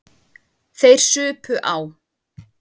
Þeir supu á.